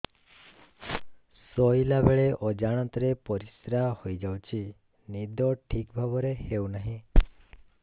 ଶୋଇଲା ବେଳେ ଅଜାଣତରେ ପରିସ୍ରା ହୋଇଯାଉଛି ନିଦ ଠିକ ଭାବରେ ହେଉ ନାହିଁ